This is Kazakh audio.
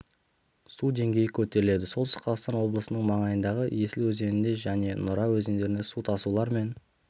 су деңгейі көтеріледі солтүстік қазақстан облысының маңайындағы есіл өзенінде және нұра өзенінде су тасулар мен